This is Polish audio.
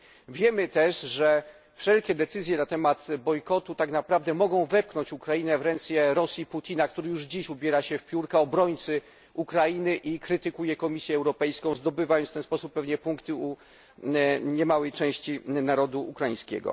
Wiemy też, że wszelkie decyzje na temat bojkotu tak naprawdę mogą wepchnąć Ukrainę w ręce Rosji Putina, który już dziś ubiera się w piórka obrońcy Ukrainy i krytykuje Komisję Europejską, zdobywając pewnie w ten sposób pewnie punkty u niemałej części narodu ukraińskiego.